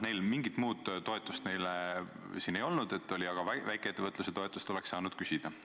Neil mingit muud toetust ei olnud, aga väikeettevõtluse toetust oleks saanud küsida.